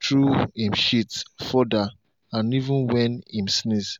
through em shit further and even when em sneeze.